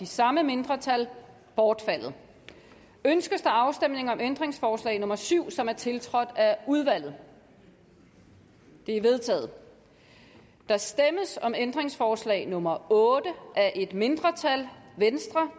samme mindretal bortfaldet ønskes der afstemning om ændringsforslag nummer syv som er tiltrådt af udvalget det er vedtaget der stemmes om ændringsforslag nummer otte af et mindretal